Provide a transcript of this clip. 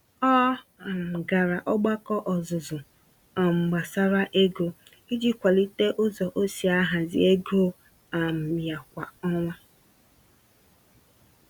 Ọ um gara ogbako ọzụzụ um gbásárá ego, iji kwalite ụzọ osi ahazi ego um ya kwá ọnwa